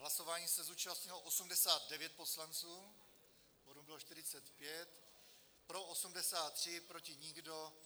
Hlasování se zúčastnilo 89 poslanců, kvorum bylo 45, pro 83, proti nikdo.